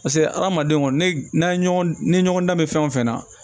Paseke hadamaden kɔni ne n'an ye ɲɔgɔn ni ɲɔgɔn dan bɛ fɛn o fɛn na